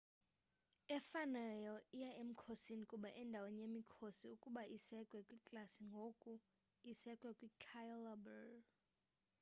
efanayo iya emkhosini kuba endaweni yemikhosi ukuba isekwe kwiklasi ngoku isekwe kwi-cailaber